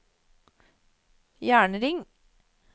jernring